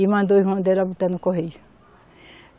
E mandou o irmão dela botar no correio.